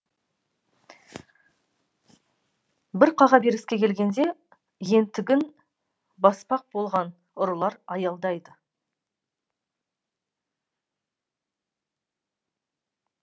бір қағаберіске келгенде ентігін баспақ болған ұрылар аялдайды